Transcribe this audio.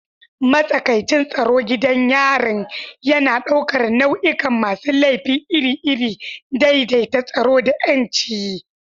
Matsakaicin tsaro gidan yarin yana ɗaukar nau'ikan masu laifi iri-iri, daidaita tsaro da 'yanci.